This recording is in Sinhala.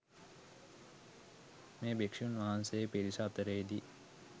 මේ භික්‍ෂූන් වහන්සේ පිරිස අතරේදී